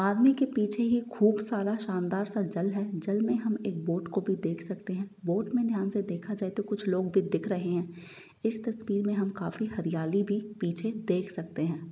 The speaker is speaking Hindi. आदमी के पीछे ये खूब सारा शानदर सा जल है जल में हम एक बोट को भी देख सकते है बोट में ध्यान से देखा जाए तो कुछ लोग भी दिख रहे हैं इस तस्वीर में हम काफी हरियाली भी पीछे देख सकते हैं।